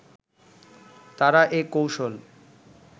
তারা এ কৌশল